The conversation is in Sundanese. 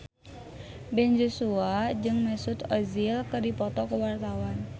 Ben Joshua jeung Mesut Ozil keur dipoto ku wartawan